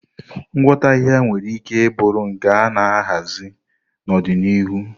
Ngwọta ahịhịa nwere ike bụrụ nke a na-ahazi n'ọdịnihu.